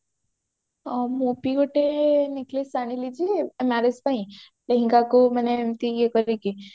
ହଁ ମୁଁ ବି ଗୋଟେ necklace ଆଣିଲି ଯେ marriage ପାଇଁ ଲେହେଙ୍ଗକୁ ମାନେ ଏମିତି ଇଏ କରିକି